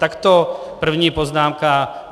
Tak to první poznámka.